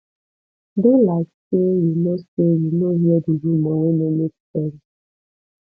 do like say you no say you no hear di rumor wey no make sense